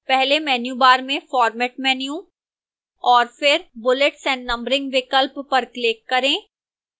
पहले menu bar में format menu और फिर bullets and numbering विकल्प पर click करें